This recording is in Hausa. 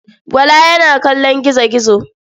Bala yana kallon gizo-gizo.